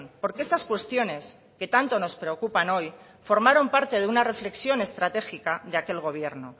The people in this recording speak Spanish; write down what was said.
porque estas cuestiones que tanto nos preocupan hoy formaron parte de una reflexión estratégica de aquel gobierno